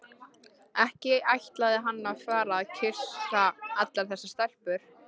Ekki ætlaði hann að fara að kyssa allar þessar stelpur.